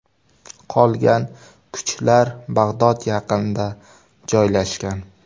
Qolgan kuchlar Bag‘dod yaqinida joylashgan.